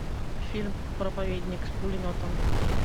фильм проповедник с пулеметом